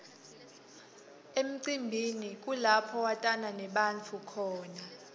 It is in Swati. emcimbini kulapho watana nebantfu khona